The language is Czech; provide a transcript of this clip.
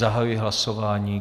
Zahajuji hlasování.